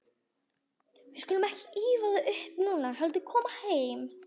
Við skulum ekki ýfa það upp núna, heldur koma heim.